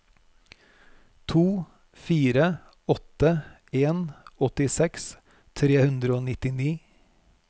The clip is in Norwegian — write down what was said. to fire åtte en åttiseks tre hundre og nittini